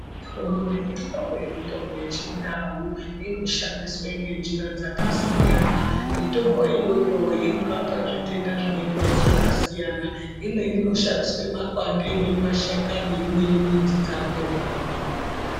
Mihlobo nemihlobo yemitombo yechiNdau inoshandiswe ngenjira dzakasiyana, mitombo iyoyo inorapa zvitenda zvinonga zvakasiyana imweni inoshandiswe mapande imweni mashakani imweni midzi dzakona.